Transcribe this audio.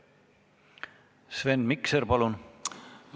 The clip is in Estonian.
Sven Mikser, palun!